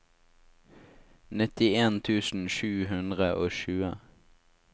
nittien tusen sju hundre og tjue